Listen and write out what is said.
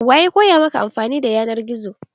Wa ya koya maka anfani da yanar gizo?